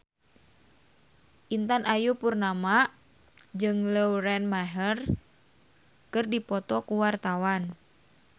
Intan Ayu Purnama jeung Lauren Maher keur dipoto ku wartawan